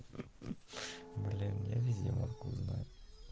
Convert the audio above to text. для меня видела как узнаю